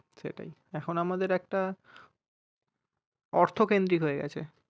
সেটাই এখন আমাদের একটা অর্থকেন্দ্রী হয়ে গেছে